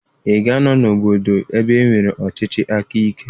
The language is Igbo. Ị ga-anọ n'obodo ebe e nwere ọchịchị aka ike?